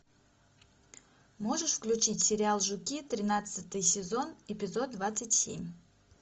можешь включить сериал жуки тринадцатый сезон эпизод двадцать семь